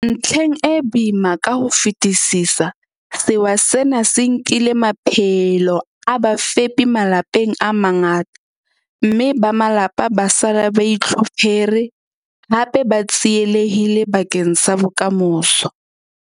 Ntlheng e boima ka ho fetisisa, sewa sena se nkile maphelo a bafepi malapeng a mangata, mme ba malapa ba sala ba itlhophere, hape ba tsielehille bakeng sa bokamoso.